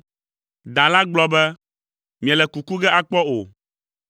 Da la gblɔ be, “Miele kuku ge akpɔ o!